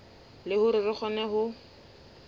le hore re kgone ho